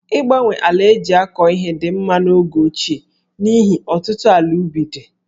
Ịgbanwe ala e ji akọ ihe dị mma n'oge ochie n'ihi ọtụtụ ala ubi dị̀